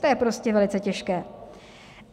To je prostě velice těžké.